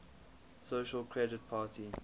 social credit party